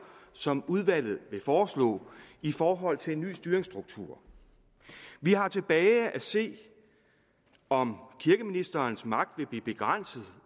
som udvalget vil foreslå i forhold til en ny styringsstruktur vi har tilbage at se om kirkeministerens magt vil blive begrænset